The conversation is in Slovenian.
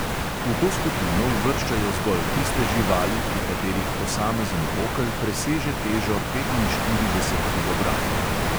V to skupino uvrščajo zgolj tiste živali, pri katerih posamezen okel preseže težo petinštirideset kilogramov.